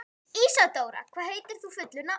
Ísadóra, hvað heitir þú fullu nafni?